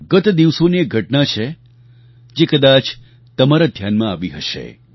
ગત દિવસોની એક ઘટના છે જે કદાચ તમારા ધ્યાનમાં આવી હશે